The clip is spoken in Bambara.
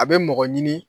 A bɛ mɔgɔ ɲini